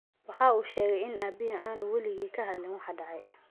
Waxa uu sheegay in aabbihii aanu weligii ka hadlin waxa dhacay.